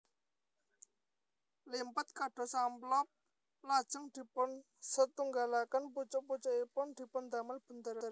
Limpet kados amplop lajeng dipunsetunggalaken pucuk pucukipun dipundamel bundheran